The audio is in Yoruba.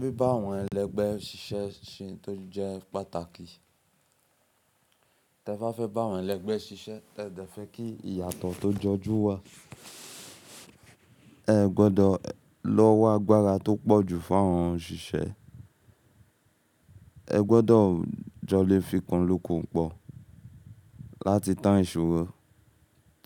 Bíba àwọn ẹlẹgbẹ́ ṣiṣẹ́ ṣe ohun tó jẹ́ pàtàkì. Tẹ fá fẹ́ bá àwọn ẹlẹgbẹ́ ṣiṣẹ́, ẹ dẹ fẹ́ kí ìyàtọ̀ tó jọjú wà. Ẹ gbọdọ̀ l'ọwọ́ agbára tó pọ̀ jù fún àwọn òṣìṣẹ́. Ẹ gbọdọ̀ jọ lè fikùn lukùn pọ̀ láti tán ìṣòro